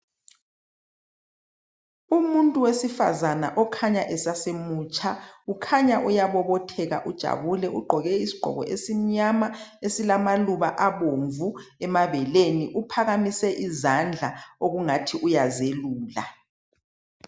Umuntu wesifazana okhanya esasemutsha ukhanya uyabobotheka ujabule ugqoke isigqoko esimnyama esilamaluba abomvu emabeleni uphakamise izandla okungathi uyazelula.